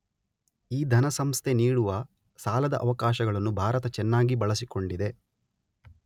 ಈ ಧನಸಂಸ್ಥೆ ನೀಡುವ ಸಾಲದ ಅವಕಾಶಗಳನ್ನು ಭಾರತ ಚೆನ್ನಾಗಿ ಬಳಸಿಕೊಂಡಿದೆ.